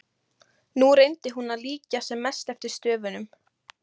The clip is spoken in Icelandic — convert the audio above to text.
Nú reyndi hún að líkja sem mest eftir stöfunum.